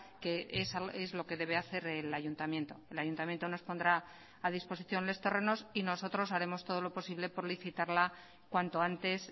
que es lo que debe hacer el ayuntamiento el ayuntamiento nos pondrá a disposición los terrenos y nosotros haremos todo lo posible por licitarla cuanto antes